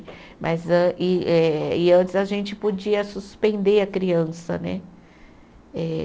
Mas an, e eh e antes a gente podia suspender a criança, né? Eh